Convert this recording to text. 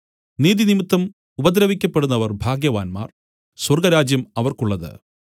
നീതിനിമിത്തം ഉപദ്രവിക്കപ്പെടുന്നവർ ഭാഗ്യവാന്മാർ സ്വർഗ്ഗരാജ്യം അവർക്കുള്ളത്